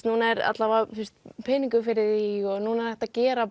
núna er allavega peningu fyrir því og núna er hægt að gera